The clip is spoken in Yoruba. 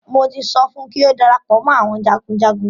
Mo ti sọ fún kí ó darapọ̀ mọ́ àwọn jagunjagun.